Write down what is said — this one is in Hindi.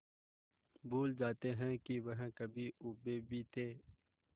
भूल जाते हैं कि वह कभी ऊबे भी थे